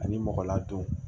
Ani mɔgɔ ladon